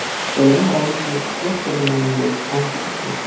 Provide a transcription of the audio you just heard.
Bilim olishni yoqtirmayman deb ont ichmang!